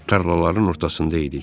Tarlaların ortasında idik.